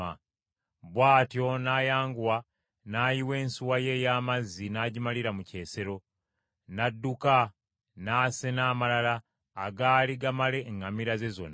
Bw’atyo n’ayanguwa n’ayiwa ensuwa ye ey’amazzi n’agimalira mu kyesero, n’adduka n’asena amalala agaali gamala eŋŋamira ze zonna,